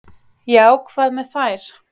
"""Já, hvað með þær?"""